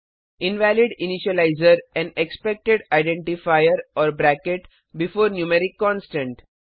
invalid initializer and expected identifier or bracket before numeric constant